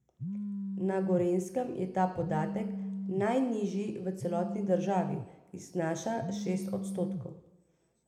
Na Gorenjskem je ta podatek najnižji v celotni državi in znaša šest odstotkov.